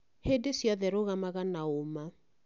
Hĩndĩ ciothe rũgamaga na ũũma